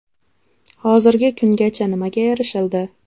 Hozirgi kungacha nimaga erishildi?